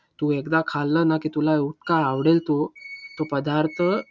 तू एकदा खाल्लं ना की तुला इतका आवडेल तो, तो पदार्थ.